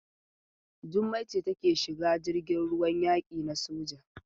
Jummai ce take shiga jirgin ruwan yaki na soja.